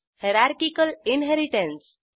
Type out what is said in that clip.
hierarchical inheritance